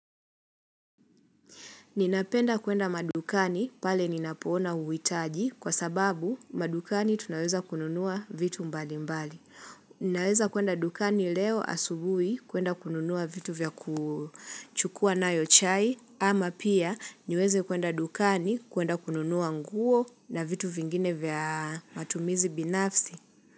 Ninapenda kuenda madukani pale ninapoona uhitaji kwa sababu madukani tunaweza kununua vitu mbali mbali. Ninaweza kuenda madukani leo asubui kuenda kununua vitu vya kuchukua nayo chai ama pia niweze kuenda dukani kuenda kununua nguo na vitu vingine vya matumizi binafsi.